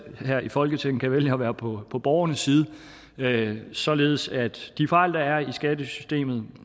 her i folketinget kan vælge at være på på borgernes side således at de fejl der er i skattesystemet